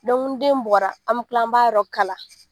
ni den bɔra an bi kila an b'a yɔrɔ kala.